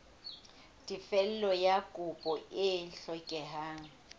tefello ya kopo e hlokehang